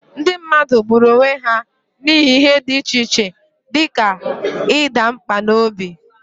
Ndị mmadụ gburu onwe ha n'ihi ihe dị iche iche dị ka ịda mbà n'obi.